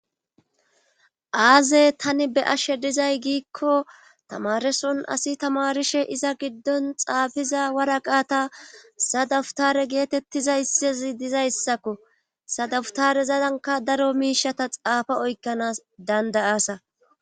Aaze tani be ashe dizay giikko tamareson asi tamarishe iza giddon xaafiza waraqaata sadawutare geetettizayssezi dizayssakko sadawutare zadanka daro miishata xaafa oykkanas dandayasa